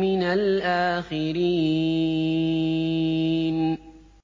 مِّنَ الْآخِرِينَ